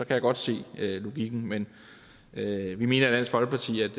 jeg godt se logikken men vi mener i dansk folkeparti at